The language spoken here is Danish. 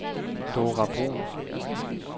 Dora Bruun